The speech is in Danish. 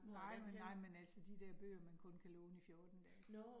Nej men nej men altså de dér bøger, man kun kan låne i 14 dage